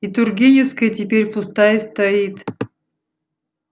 и тургеневская теперь пустая стоит